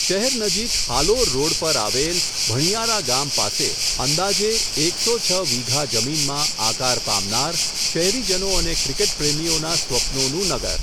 શહેર નજીક હાલોર રોડ પર આવેલ, ભણીયારા ગામ પાસે, અંદાજે એક સો છ વીંઘા જમીનમાં, આકાર પામનાર, શહેરીજનો અને ક્રિકેટપ્રેમીઓના સ્વપ્નનું નગર.